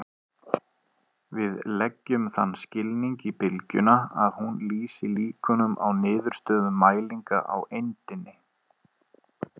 Við leggjum þann skilning í bylgjuna að hún lýsi líkunum á niðurstöðum mælinga á eindinni.